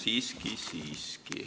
Siiski-siiski.